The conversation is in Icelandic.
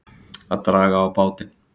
Að draga á bátinn